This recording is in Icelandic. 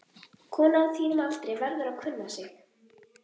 Kona á þínum aldri verður að kunna sig.